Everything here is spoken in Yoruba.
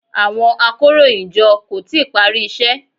Àwọn akóròyìnjọ kò tíì parí iṣẹ́.